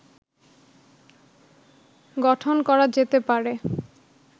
গঠন করা যেতে পারে